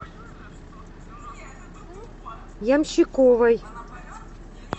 ямщиковой